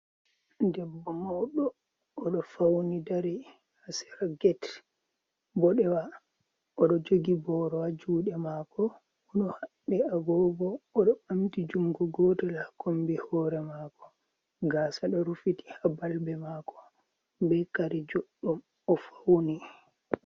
Debbo mauɗo oɗo fauni dari hasera get boɗewa, oɗo jogi borowa juɗe mako oɗo habɓi agogo, oɗo ɓamti jungo gotel ha kombi hore mako gasa ɗo rufiti ha balbe mako be kare jodɗum o fauni.